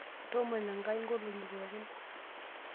Toomono Enkai ng'olong'i pooki.